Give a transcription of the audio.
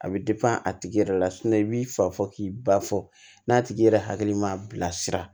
A bɛ a tigi yɛrɛ la i b'i fa fɔ k'i ba fɔ n'a tigi yɛrɛ hakili ma bilasira